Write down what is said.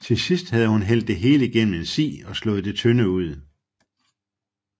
Til sidst havde hun hældt det hele gennem en si og slået det tynde ud